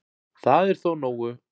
Það er þó nógu